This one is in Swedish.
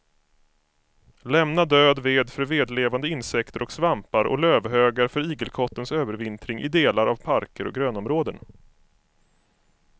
Lämna död ved för vedlevande insekter och svampar och lövhögar för igelkottens övervintring i delar av parker och grönområden.